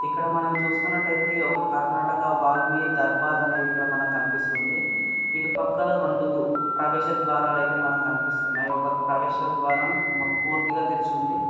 ఇక్కడ మనం చూస్తున్నట్టయితే ఒక కర్ణాటక ఒక దర్బార్ అనేది ఇక్కడ మనకు కనిపిస్తుంది. ఇటు పక్కల రెండు ప్రవేశ ద్వారాలైతే మనకనిపిస్తూఉన్నాయ్. ఒక ప్రవేశ ద్వారం పూర్తిగా తెరిచి ఉంది.